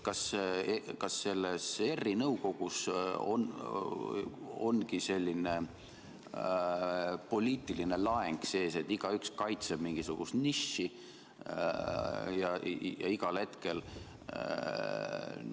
Kas ERR-i nõukogus ongi selline poliitiline laeng sees, et igaüks kaitseb mingisugust nišši?